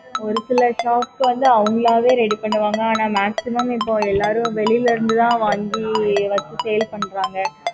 ஒருசில shop க்கு வந்து அவங்களாவே ready பண்ணுவாங்க ஆனா maximum இப்போ எல்லாம் வெளில இருந்து தான் வாங்கி வச்சு sale பண்றாங்க